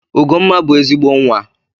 Ugomma bụ ezigbo Nwa.